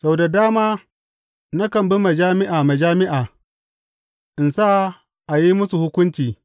Sau da dama nakan bi majami’a majami’a, in sa a yi musu hukunci.